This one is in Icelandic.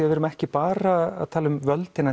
við erum ekki bara að tala um völd innan